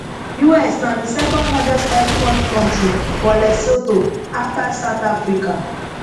us na di second largest export kontri for lesotho afta south africa